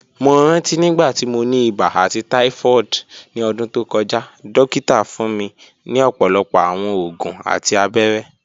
Mo ranti nigbati mo ni iba ati typhoid ni ọdun to kọja, dokita fun mi ọpọlọpọ awọn oògùn ati abẹrẹ